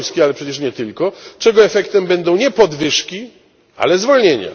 z Polski, ale przecież nie tylko, czego efektem będą nie podwyżki, ale zwolnienia.